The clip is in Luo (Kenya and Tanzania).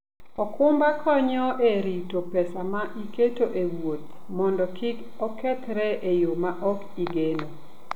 okumba konyo e rito pesa ma iketo e wuoth mondo kik okethre e yo ma ok igeno.